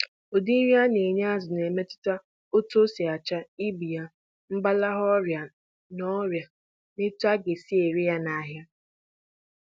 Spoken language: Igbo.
Ogo nri azụ n'eri, na-emetụta ụcha ya, ibu ya, mgbasike nakwa ego ọgadata nahịa